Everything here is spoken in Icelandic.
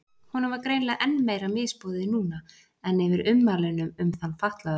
Honum var greinilega enn meira misboðið núna en yfir ummælunum um þann fatlaða.